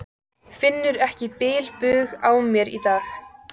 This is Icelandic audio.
Finnur ekki bilbug á mér í dag.